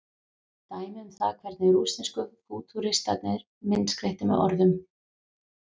Dæmi um það hvernig rússnesku fútúristarnir myndskreyttu með orðum.